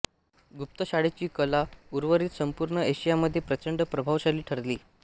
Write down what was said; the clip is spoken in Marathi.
गुप्त शाळेची कला उर्वरीत संपूर्ण एशियामध्ये प्रचंड प्रभावशाली ठरली